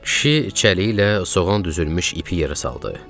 Kişi çəliklə soğan düzülmüş ipi yerə saldı.